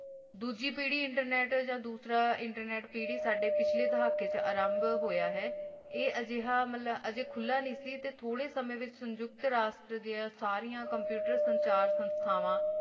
ਤਾ ਡੋਜੀ ਪਾਰੀ internet ਦੀ ਯਾ ਡਾਸਰ internet ਪਾਰੀ ਸਦਾ ਪਾਚਾਲਾ ਦਾਖਾ ਅਰਾਮ੍ਬ ਹੋਆ ਹ ਆ ਅਜਹ ਅਜ ਮਿਲਿਆ ਨਹੀ ਥੋਰਾ ਸਮਾਂ ਸੁਨ੍ਜਾਪਾਤ ਰਸਤਾ ਸਾਰਿਆ computer ਸੰਚਾਰ ਸੀ ਥਾਵਾ